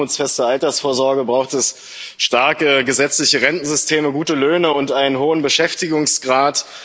Für eine armutsfeste Altersvorsorge braucht es starke gesetzliche Rentensysteme, gute Löhne und einen hohen Beschäftigungsgrad.